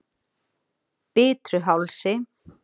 Bitruhálsi